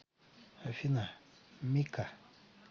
афина мика